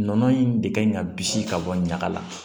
Nɔnɔ in de kan ka bisi ka bɔ ɲaga la